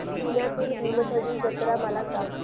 पुण्यातील भीमथडी जत्रा मला सांग